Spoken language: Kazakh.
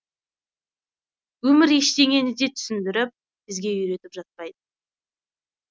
өмір ештеңені де түсіндіріп бізге үйретіп жатпайды